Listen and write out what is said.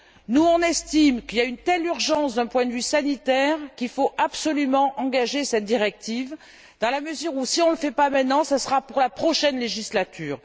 Nous estimons qu'il y a une telle urgence d'un point de vue sanitaire qu'il faut absolument mettre cette directive sur les rails dans la mesure où, si on ne le fait pas maintenant, ce sera pour la prochaine législature.